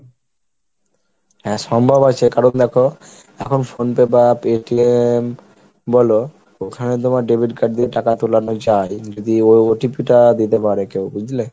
হ্যাঁ সম্ভব আছে, কারণ দেখো এখন phone থেকে বা বলো ওখানে তোমার Debit card দিয়ে টাকা তোলানো যায় যদি ও OTP টা দিতে পারে কেউ বুঝলে?